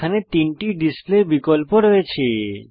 এখানে তিনটি ডিসপ্লে বিকল্প রয়েছে